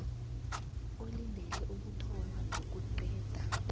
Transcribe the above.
olindele ukuthoma nokuqeda